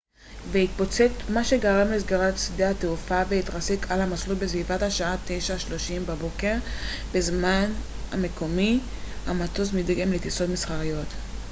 המטוס מדגם the jas 39c gripen התרסק על המסלול בסביבות השעה 9:30 בבוקר בזמן המקומי 0230 utc והתפוצץ מה שגרם לסגירת שדה התעופה לטיסות מסחריות